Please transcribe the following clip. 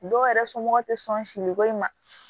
Dɔw yɛrɛ somɔgɔw tɛ sɔn siri bɔ i ma